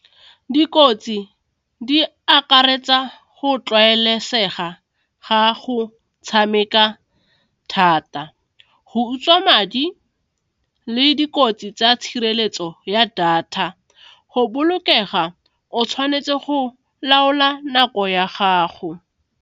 Dikotsi di akaretsa go tlwaelesega ga a go tshameka thata, go utswa madi le dikotsi tsa tshireletso ya data, go bolokega o tshwanetse go laola nako ya gago.